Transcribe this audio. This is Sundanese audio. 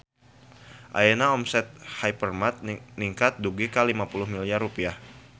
Ayeuna omset Hypermart ningkat dugi ka 50 miliar rupiah